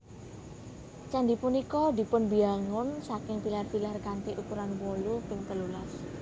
Candhi punika dipunbiyangun saking pilar pilar kanthi ukuran wolu ping telulas